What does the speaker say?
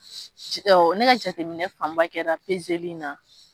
Ne ka jateminɛ fanba kɛra li in na